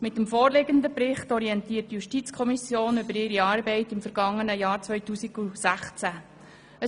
Mit dem vorliegenden Bericht orientiert die JuKo über ihre Arbeit im vergangenen Jahr 2016.